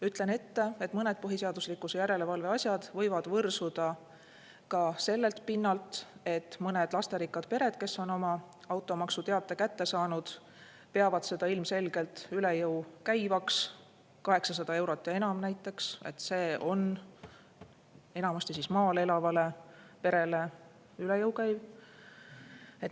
Ütlen ette, et mõned põhiseaduslikkuse järelevalve asjad võivad võrsuda ka sellelt pinnalt, et mõned lasterikkad pered, kes on oma automaksuteate kätte saanud, peavad seda ilmselgelt üle jõu käivaks – 800 eurot ja enam näiteks on enamasti maal elavale perele üle jõu käiv.